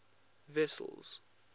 wessels